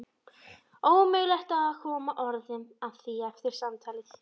Ómögulegt að koma orðum að því eftir samtalið.